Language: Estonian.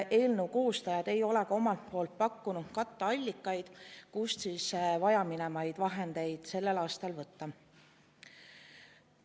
Eelnõu koostajad ei ole ka omalt poolt pakkunud katteallikaid, kust siis vajaminevaid vahendeid sellel aastal võtta.